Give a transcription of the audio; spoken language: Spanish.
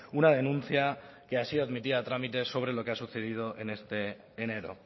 una denuncia que ha sido admitida a trámite sobre lo que ha sucedido en este enero